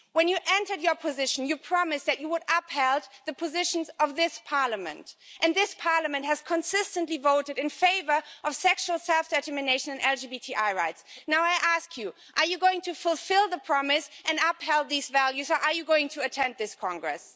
When you entered your position, you promised that you would uphold the positions of this Parliament and this Parliament has consistently voted in favour of sexual self-determination and LGBTI rights. I ask you are you going to fulfil the promise and uphold these values, or are you going to attend this Congress?